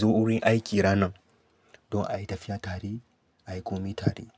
zo wurin aiki ranan. Don a yi tafiya tare, a yi komai tare.